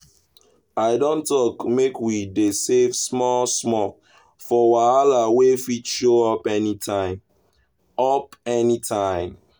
i don talk make we dey save small-small for wahala wey fit show up anytime. up anytime.